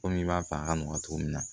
Komi i b'a fɛ a ka nɔgɔ cogo min na